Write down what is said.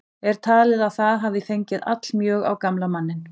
Er talið að það hafi fengið allmjög á gamla manninn.